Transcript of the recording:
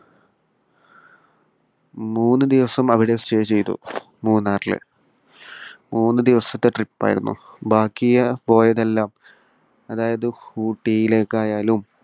മൂന്നു ദിവസം അവിടെ stay ചെയ്തു. മൂന്നാറില്. മൂന്നു ദിവസത്തെ trip ആയിരുന്നു. ബാക്കി പോയതെല്ലാം അതായത് ഊട്ടിയിലേക്കായാലും